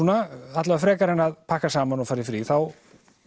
alla vega frekar en að pakka saman og fara í frí þá